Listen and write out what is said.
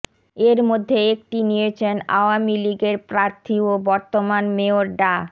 এর মধ্যে একটি নিয়েছেন আওয়ামী লীগের প্রার্থী ও বর্তমান মেয়র ডা